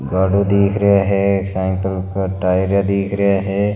गाडू दिख रेया है साइकिल का टायर दिख रेया है।